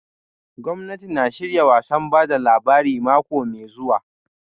Gwamnati na shirya wasan ba da labari mako mai zuwa